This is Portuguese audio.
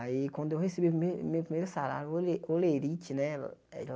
Aí, quando eu recebi o prime o meu primeiro salário, hole holerite, né?